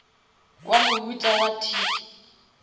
wa mohuta wa tic